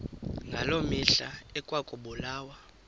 ngaloo mihla ekwakubulawa